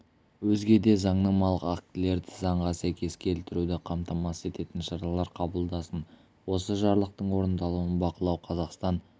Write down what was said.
өзге де заңнамалық актілерді заңға сәйкес келтіруді қамтамасыз ететін шаралар қабылдасын осы жарлықтың орындалуын бақылау қазақстан